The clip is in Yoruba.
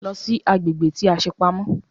Lọ sí agbègbè tí a ṣe pamọ́!